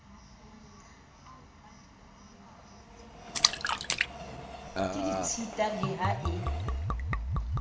ke ditshita le ha e